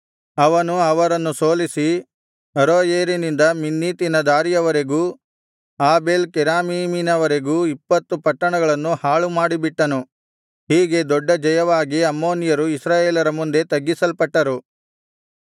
ಅವನು ಅವರನ್ನು ಸೋಲಿಸಿ ಅರೋಯೇರಿನಿಂದ ಮಿನ್ನೀತಿನ ದಾರಿಯವರೆಗೂ ಆಬೇಲ್ ಕೆರಾಮೀಮಿನವರೆಗೂ ಇಪ್ಪತ್ತು ಪಟ್ಟಣಗಳನ್ನು ಹಾಳುಮಾಡಿಬಿಟ್ಟನು ಹೀಗೆ ದೊಡ್ಡ ಜಯವಾಗಿ ಅಮ್ಮೋನಿಯರು ಇಸ್ರಾಯೇಲರ ಮುಂದೆ ತಗ್ಗಿಸಲ್ಪಟ್ಟರು